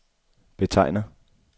betegner